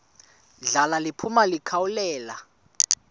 ndla liphuma likhawulele